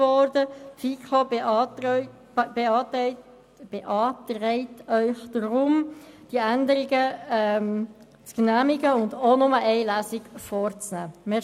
Die FiKo beantragt Ihnen deshalb, diese Änderungen zu genehmigen und auch nur eine Lesung vorzunehmen.